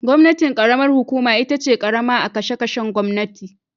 Gwamnatin karamar hukuma itace karama a kashe kashen gwamnati